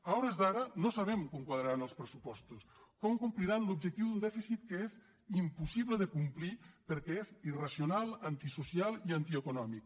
a hores d’ara no sabem com quadraran els pressupostos com compliran l’objectiu d’un dèficit que és impossible de complir perquè és irracional antisocial i antieconòmic